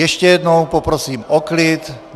Ještě jednou poprosím o klid.